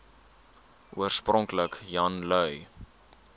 oorspronklik jan lui